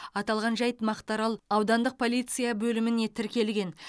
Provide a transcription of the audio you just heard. аталған жайт мақтаарал аудандық полиция бөліміне тіркелген